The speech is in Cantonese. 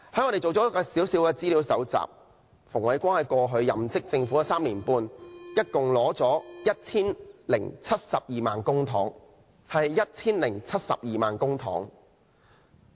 我們搜集了一些資料，顯示馮煒光在過去任職政府的3年半中，一共收取 1,072 萬元公帑。